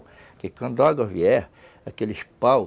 Porque quando a água vier, aqueles paus,